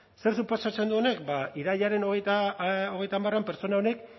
zer suposatzen du honek ba irailaren hogeita hamarean pertsona honek